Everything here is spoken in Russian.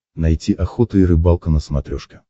найти охота и рыбалка на смотрешке